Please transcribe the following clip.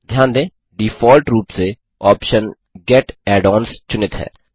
ध्यान दें डिफ़ॉल्ट रूप से ऑप्शन गेट add ओन्स चुनित है